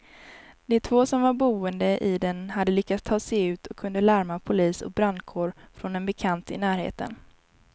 De två som var boende i den hade lyckats ta sig ut och kunde larma polis och brandkår från en bekant i närheten.